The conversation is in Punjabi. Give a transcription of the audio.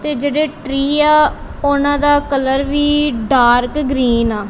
ਤੇ ਜਿਹੜੇ ਟਰੀ ਆ ਉਹਨਾਂ ਦਾ ਕਲਰ ਵੀ ਡਾਰਕ ਗਰੀਨ ਆ।